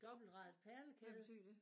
Dobbeltradet perlekæde